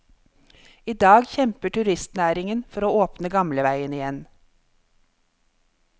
I dag kjemper turistnæringen for å åpne gamleveien igjen.